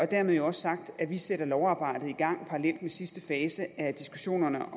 dermed jo også sagt at vi sætter lovarbejdet i gang parallelt med sidste fase af diskussionerne om